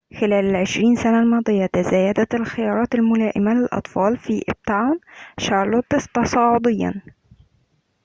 خلال ال20 سنة الماضية تزايدت الخيارات الملائمة للأطفال في أبتاون شارلوت تصاعديّاً